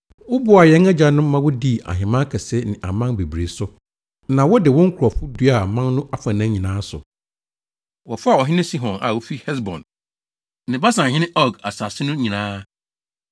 “Woboaa yɛn agyanom ma wodii ahemman akɛse ne aman bebree so, na wode wo nkurɔfo duaa aman no afanan nyinaa so. Wɔfaa ɔhene Sihon a ofi Hesbon ne Basanhene Og asase no nyinaa.